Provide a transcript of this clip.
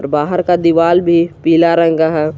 बाहर का दिवाल भी पीला रंग का है।